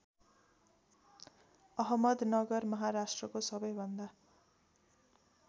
अहमदनगर महाराष्ट्रको सबैभन्दा